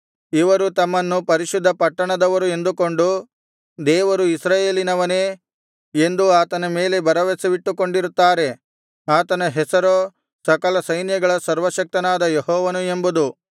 ಇವರು ತಮ್ಮನ್ನು ಪರಿಶುದ್ಧ ಪಟ್ಟಣದವರು ಎಂದುಕೊಂಡು ದೇವರು ಇಸ್ರಾಯೇಲಿನವನೇ ಎಂದು ಆತನ ಮೇಲೆ ಭರವಸವಿಟ್ಟುಕೊಂಡಿರುತ್ತಾರೆ ಆತನ ಹೆಸರೋ ಸಕಲ ಸೈನ್ಯಗಳ ಸರ್ವಶಕ್ತನಾದ ಯೆಹೋವನು ಎಂಬುದು